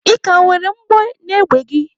Ị ka nwere mgbọ n'égbè gị?